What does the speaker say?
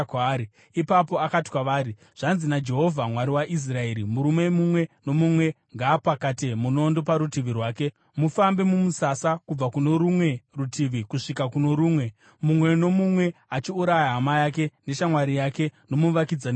Ipapo akati kwavari, “Zvanzi naJehovha Mwari waIsraeri, ‘Murume mumwe nomumwe ngaapakate munondo parutivi rwake. Mufambe mumusasa kubva kuno rumwe rutivi kusvika kuno rumwe, mumwe nomumwe achiuraya hama yake neshamwari yake nomuvakidzani wake.’ ”